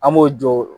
An b'o jɔ